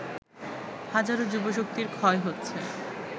হাজারো যুবশক্তির ক্ষয় হচ্ছে